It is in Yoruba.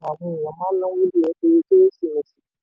àwọn ènìyàn máa ń náwó jùlọ nítorí kérésìmesì.